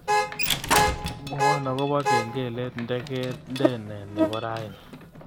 Mwowon agoba kengelet ndegendene nebo raini